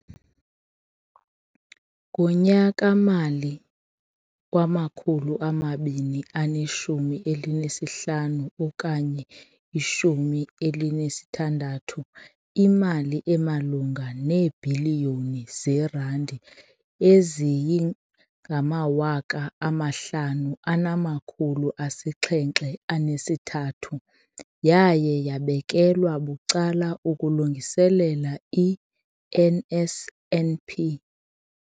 Ngonyaka-mali wama-2015, 16, imali emalunga neebhiliyoni zeerandi eziyi-5 703 yaye yabekelwa bucala ukulungiselela i-NSNP.